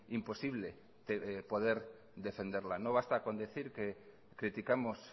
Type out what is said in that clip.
imposible poder defenderla nobasta con decir que criticamos